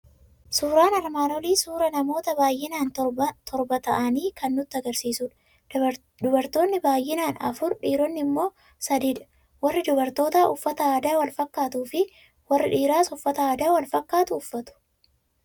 Suuraan armaan olii suuraa namoota baay'inaan torba ta'anii kan nutti argisiisudha. Dubartootni baay'inaan afur, dhiironni immoo sadiidha. Warri dubartootaa uffata aadaa wal fakkaatuu fi warri dhiiraas uffata aadaa wal fakkaatuu uffatu.